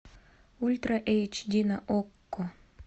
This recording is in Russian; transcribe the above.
ультра эйч ди на окко